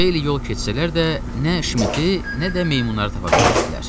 Xeyli yol keçsələr də, nə Şmiti, nə də meymunları tapa bilmişdilər.